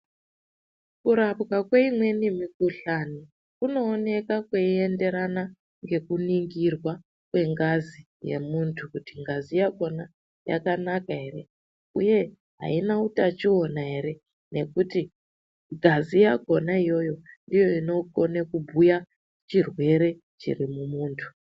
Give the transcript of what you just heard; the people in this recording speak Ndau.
Kurapwa kweimweni mikuhlani kunooneka kweienderana ngekuningirwa kwengazi yemuntu kuti ngazi yakona yakanaka ere uye haina utachiwana ere nekuti ngazi yakona ndoinogone kubhuya chirwere chiri mumuntu.